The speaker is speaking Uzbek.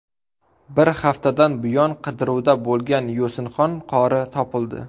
Bir haftadan buyon qidiruvda bo‘lgan Yosinxon qori topildi.